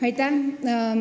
Aitäh!